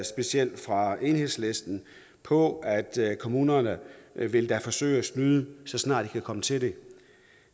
specielt fra enhedslisten på at kommunerne da vil forsøge at snyde så snart kan komme til det